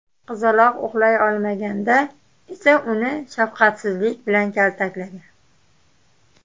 Qizaloq uxlay olmaganda esa uni shafqatsizlik bilan kaltaklagan.